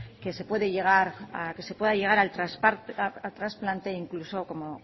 que se pueda llegar al transplante e incluso como